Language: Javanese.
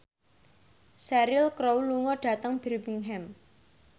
Cheryl Crow lunga dhateng Birmingham